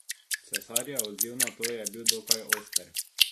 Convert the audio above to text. Cerarjev odziv na to je bil dokaj oster.